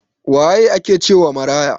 Waye ake cewa maraya?